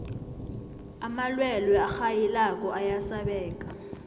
amalwelwe arhayilako ayasabeka